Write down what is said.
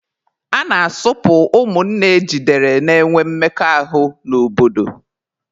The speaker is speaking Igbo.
A na-asụpụ ụmụnne ejidere na-enwe mmekọahụ n'obodo.